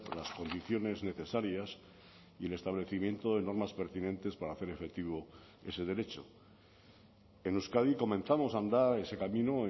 las condiciones necesarias y el establecimiento de normas pertinentes para hacer efectivo ese derecho en euskadi comenzamos a andar ese camino